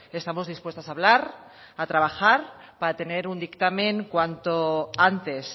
estamos dispuestas a hablar a trabajar para tener un dictamen cuanto antes